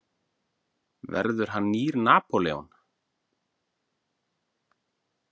Verður hann nýr Napóleon?